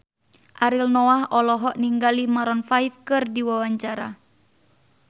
Ariel Noah olohok ningali Maroon 5 keur diwawancara